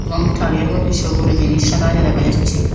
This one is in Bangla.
এবং তারিয়ার মদ্যে সবুরও জিনিস রাখা আছে দেখা যাচ্ছে।